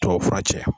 Tubabufura cɛ